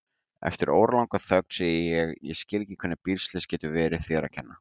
Eftir óralanga þögn segi ég: Ég skil ekki hvernig bílslys getur verið þér að kenna.